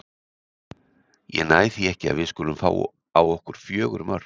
Ég næ því ekki að við skulum fá á okkur fjögur mörk.